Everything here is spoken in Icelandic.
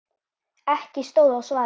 Ekki stóð á svari.